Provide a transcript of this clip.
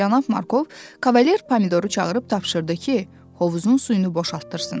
Cənab Markov kavalier pomidoru çağırıb tapşırdı ki, hovuzun suyunu boşaltdırsın.